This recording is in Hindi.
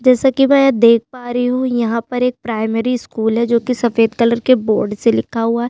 जैसा की में यहाँ देख पा रही हू यहाँ एक प्राइमरी स्कूल है जो कि सफ़ेद कलर के बोर्ड से लिखा हुआ है।